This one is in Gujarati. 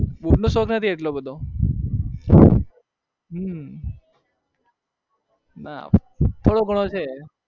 boot નો શોખ નથી એટલો બધો હમમ નાં ઢોણો ગણો છે